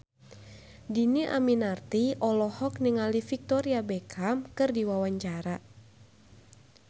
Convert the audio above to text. Dhini Aminarti olohok ningali Victoria Beckham keur diwawancara